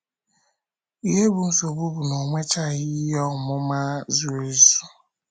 Ihe bụ́ nsogbu bụ na o nwechaghị ihe ọmụma zuru ezu.